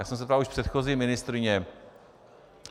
Já jsem se ptal už předchozí ministryně.